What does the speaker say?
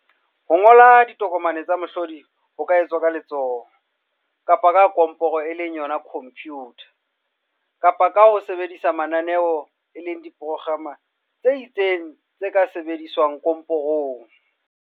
Ho ngola ditokomane tsa mohlodi ho ka etswa ka letsoho, kapa ka komporo, computer, kapa ka ho sebedisa mananeo, diprograma, tse itseng tse ka sebediswang komporong.